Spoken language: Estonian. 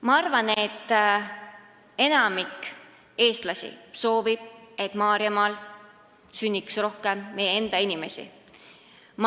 Ma arvan, et enamik eestlasi soovib, et Maarjamaal sünniks rohkem meie enda inimesi.